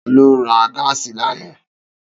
Ta ló ra gáàsì lánàá?